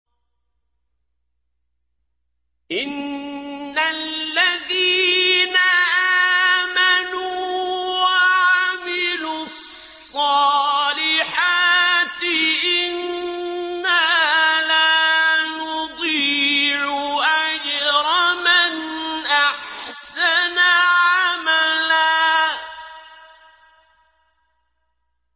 إِنَّ الَّذِينَ آمَنُوا وَعَمِلُوا الصَّالِحَاتِ إِنَّا لَا نُضِيعُ أَجْرَ مَنْ أَحْسَنَ عَمَلًا